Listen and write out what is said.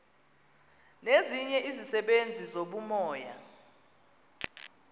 nezinye izisebenzi zobumoya